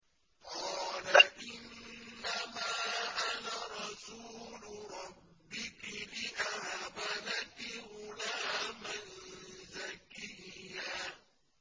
قَالَ إِنَّمَا أَنَا رَسُولُ رَبِّكِ لِأَهَبَ لَكِ غُلَامًا زَكِيًّا